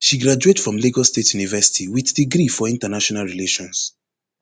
she graduate from lagos state university wit degree for international relations